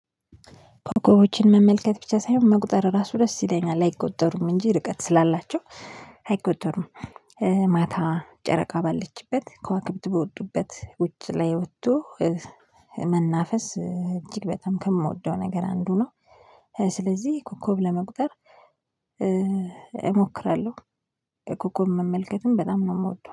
ኮከቦችን መመልከት ብቻ ሳይሆን መቁጠር ራሱ ደስ ይለኛል አይቆጠሩም እንጂ ርቀት ስላላቸው አይቆጠሩም። ማታ ጨረቃ ባለችበት ከዋክብት በወጡበት ውጭ ላይ ወጥቶ መናፈስ እጅግ በጣም ከምወደው ነገር አንዱ ነው። ስለዚህ ኮከብ ለመቁጠር እሞክራለሁ። ኮከብ መመልከትም በጣም ነው የምወደው